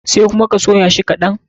Sai kuma ka soya shi kaɗan.